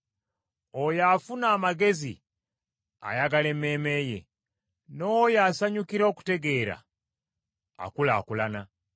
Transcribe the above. Oyo afuna amagezi ayagala emmeeme ye, n’oyo asanyukira okutegeera, akulaakulana.